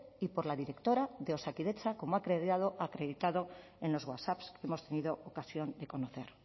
y por la directora de osakidetza como ha quedado acreditado en los whatsapp que hemos tenido ocasión de conocer